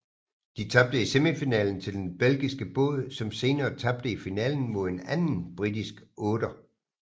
De tabte i semifinalen til den belgiske båd som senere tabte i finalen mod en anden britisk otter